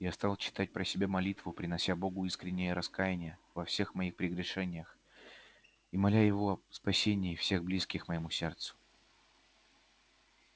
я стал читать про себя молитву принося богу искреннее раскаяние во всех моих прегрешениях и моля его о спасении всех близких моему сердцу